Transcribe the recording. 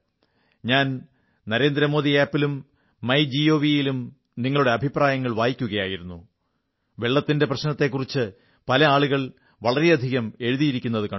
ഞാൻ നരേന്ദ്രമോദി ആപ് ലും മൈ ജിഒവിലും നിങ്ങളുടെ അഭിപ്രായങ്ങൾ വായിക്കുകയായിരുന്നു വെള്ളത്തിന്റെ പ്രശ്നത്തെക്കുറിച്ച് നിരവധി ആളുകൾ വളരെയധികം എഴുതിയിരിക്കുന്നതു കണ്ടു